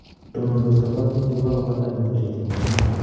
Tonondos kaparunitik kokapata petushek cheng'ering'en